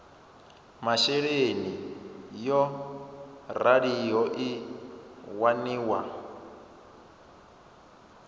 masheleni yo raliho i waniwa